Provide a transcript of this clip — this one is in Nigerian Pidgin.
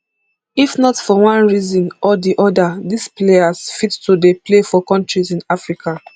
if not for one reason or di oda dis players fit to dey play for kontris in africa